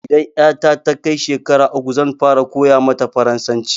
Idan ƴata ta kai shekara uku zan fara koya mata farasanci